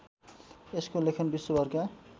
यसको लेखन विश्वभरका